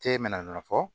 Te mina fɔ